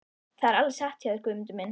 Það er alveg satt hjá þér Guðmundur minn.